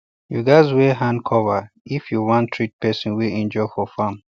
you gatz wear hand cover if you wan treat person wey injure for farm